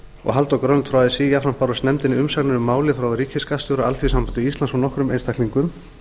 og halldór grönvold frá así jafnframt bárust nefndinni umsagnir um málið frá ríkisskattstjóra alþýðusambandi íslands og nokkrum einstaklingum